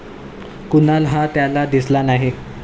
कुणाल हा त्याला दिसला नाही.